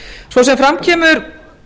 svo sem fram kemur